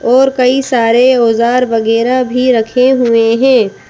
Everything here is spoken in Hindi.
और कई सारे औज़ार वगैरा भी रखे हुए है।